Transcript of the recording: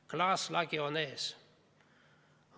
Klaaslagi on ees.